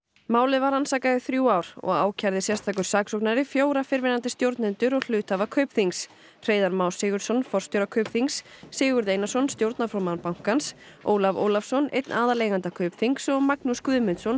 málið var rannsakað í þrjú ár og ákærði sérstakur saksóknari fjóra fyrrverandi stjórnendur og hluthafa Kaupþings Hreiðar Má Sigurðsson forstjóra Kaupþings Sigurð Einarsson stjórnarformann bankans Ólaf Ólafsson einn aðaleiganda Kaupþings og Magnús Guðmundsson